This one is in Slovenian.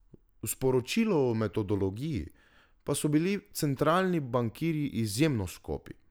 V sporočilu o metodologiji pa so bili centralni bankirji izjemno skopi.